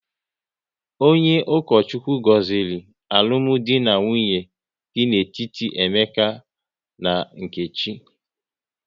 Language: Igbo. Onye Ukochukwu gọziri alụmdi na nwunye dị n'etiti Emeka na Nkechi